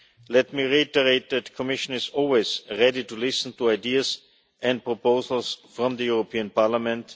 Let me reiterate that the Commission is always ready to listen to ideas and proposals from the European Parliament.